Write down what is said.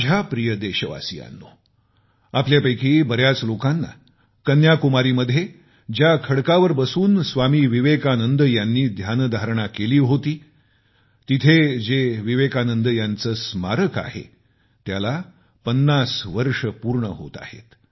माझ्या प्रिय देशवासियांनो आपल्यापैकी बऱ्याच लोकांना कन्याकुमारी मध्ये ज्या खडकावर बसून स्वामी विवेकानंद यांनी ध्यानधारणा केली होती तिथे जे विवेकानंद यांचे स्मारक आहे त्याला 50 वर्ष पूर्ण होत आहेत